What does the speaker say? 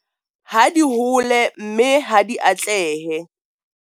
Ha di hole, mme ha di atlehe.